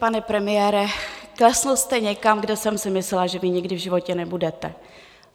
Pane premiére, klesl jste někam, kde jsem si myslela, že vy nikdy v životě nebudete.